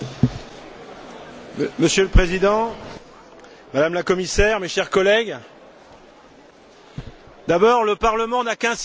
Monsieur le Président, Madame la Commissaire, mes chers collègues, d'abord, le Parlement n'a qu'un siège, c'est Strasbourg!